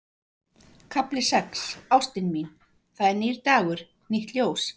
KAFLI SEX Ástin mín, það er nýr dagur, nýtt ljós.